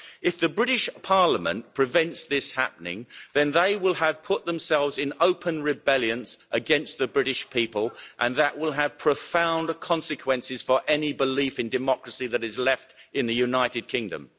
If the British Parliament prevents this happening, then they will have put themselves in open rebellion against the British people and that will have profound consequences for any belief in democracy that is left in the United Kingdom.